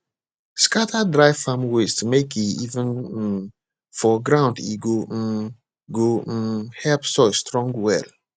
scatter dry farm waste mek e even um for ground e go um go um help soil strong well